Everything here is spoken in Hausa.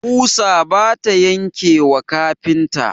ƙusa bata yanke wa kafinta.